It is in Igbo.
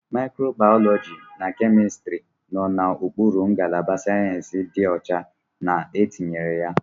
Microbiology na Chemistry nọ n'okpuru ngalaba Sayensị dị ọcha na etinyere ya.